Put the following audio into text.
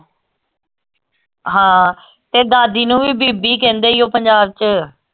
ਹਾਂ ਤੇ ਦਾਦੀ ਨੂੰ ਵੀ ਬੀਬੀ ਕਹਿੰਦੇ ਈ ਓ ਪੰਜਾਬ ਚ